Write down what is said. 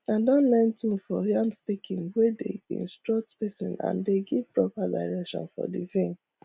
i don learn tune for yam staking wey dey instructs spacing and dey give proper direction for the vine